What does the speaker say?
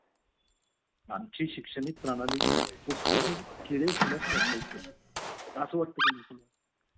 अनी एकतार लहन मुल्गा घरत असल्या मुले अपान जस्त प्रकाशन करतो अनी ऑफिस ला गेलिया नेंटर मैग वह चालु जल आरी अता घरी जयचाय मग अलयावर